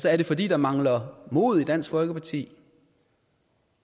er det fordi der mangler mod i dansk folkeparti